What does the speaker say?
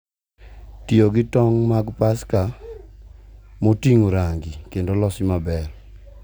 Tiyo gi tong’ mag Paska ma oting’o rangi kendo olosi maber,